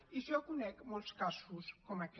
i jo conec molts casos com aquest